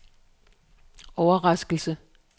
overraskelse